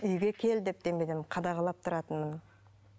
үйге кел деп қадағалап тұратынмын